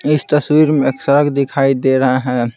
इस तस्वीर में एक सड़क दिखाई दे रहा है।